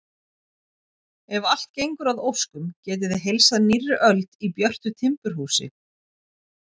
Ef allt gengur að óskum getið þið heilsað nýrri öld í björtu timburhúsi.